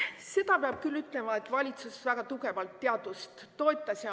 Seda peab küll ütlema, et valitsus väga tugevalt toetas teadust.